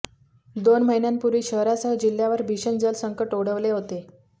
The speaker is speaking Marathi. दोन महिन्यांपूर्वी शहरासह जिल्ह्यावर भीषण जल संकट ओढवले होते